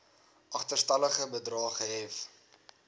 agterstallige bedrae gehef